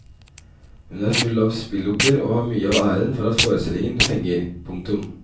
Hun er full av spillopper og har mye av æren for at forestillingen fenger. punktum